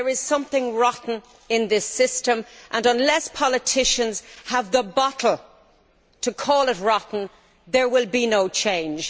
There is something rotten in this system, and unless politicians have the bottle to call it rotten, there will be no change.